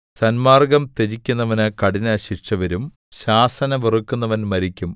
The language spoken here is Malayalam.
സന്മാർഗ്ഗം ത്യജിക്കുന്നവന് കഠിനശിക്ഷ വരും ശാസന വെറുക്കുന്നവൻ മരിക്കും